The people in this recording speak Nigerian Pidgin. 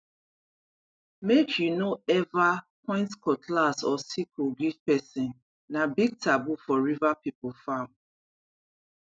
make you no ever point cutlass or sickle give person na big taboo for river people farm